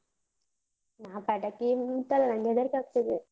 ನಾ ಪಟಾಕಿ ಏನ್ ಮುಟ್ಟಲ್ಲ, ನಂಗ್ ಹೆದರಿಕೆ ಆಗ್ತದೆ.